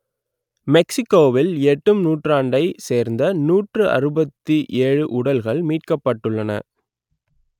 மெக்சிக்கோவில் எட்டும் நூற்றாண்டைச் சேர்ந்த நூற்று அறுபத்தி ஏழு உடல்கள் மீட்கப்பட்டன